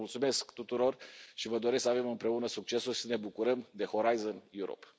Vă mulțumesc tuturor și vă doresc să avem împreună succes și să ne bucurăm de Horizon Europe